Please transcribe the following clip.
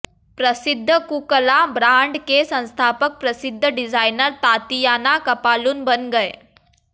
प्रसिद्ध Kukkala brand के संस्थापक प्रसिद्ध डिजाइनर तातियाना कपालुन बन गए